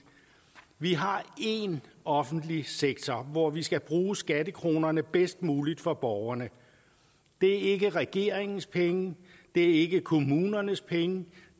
vi har én offentlig sektor hvor vi skal bruge skattekronerne bedst muligt for borgeren det er ikke regeringens penge det er ikke kommunernes penge